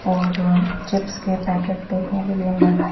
और चिप्स के पैकेट देखने के लिए मिल रहे है।